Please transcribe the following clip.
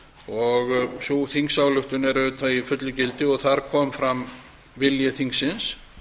og sú þingsályktun er auðvitað í fullu gildi og þar kom fram vilji þingsins